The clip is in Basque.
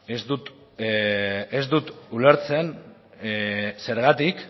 ez dut ulertzen zergatik